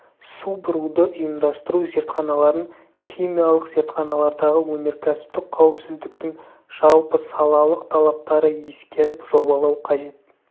су бұруды ұйымдастыру зертханаларын химиялық зертханалардағы өнеркәсіптік қауіпсіздіктің жалпысалалық талаптары ескеріп жобалау қажет